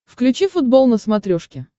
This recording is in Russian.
включи футбол на смотрешке